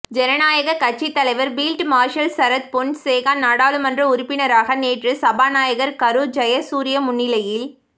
ஜனநாயக கட்சி தலைவர் பீல்ட் மார்ஷல் சரத் பொன்சேகா நாடாளுமன்ற உறுப்பினராக நேற்று சபாநாயகர் கரு ஜயசூரிய முன்னிலையில்